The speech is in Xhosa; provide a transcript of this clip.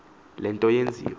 le nto yenziwe